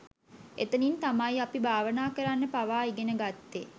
එතනින් තමයි අපි භාවනා කරන්න පවා ඉගෙන ගත්තේ